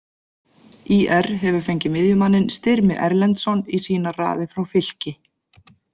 ÍR hefur fengið miðjumanninn Styrmi Erlendsson í sínar raðir frá Fylki.